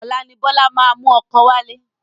Ọlá ni Bọlá máa mú ọkọ wálé